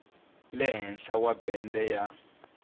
le henhla wa bende ya